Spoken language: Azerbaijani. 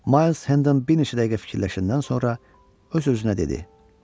Mays Henden bir neçə dəqiqə fikirləşəndən sonra öz-özünə dedi: